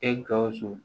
E gawusu